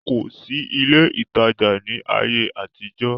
kò sí ilé ìtajà ní ayé àtijọ́